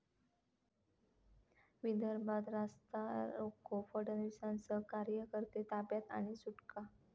विदर्भात रास्ता रोको, फडणवीसांसह कार्यकर्ते ताब्यात आणि सुटका